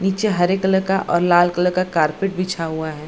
नीचे हरे कलर का और लाल कलर का कारपेट बिछा हुआ है।